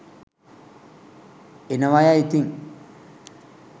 එනවයැ ඉතින්